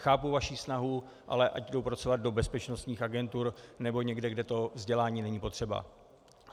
Chápu vaši snahu, ale ať jdou pracovat do bezpečnostních agentur nebo někam, kde to vzdělání není potřeba.